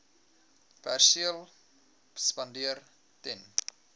perseel spandeer ten